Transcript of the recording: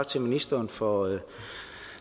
til ministeren for